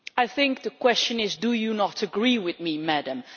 I think the question is ʻDo you not agree with me, Madam?ʼ,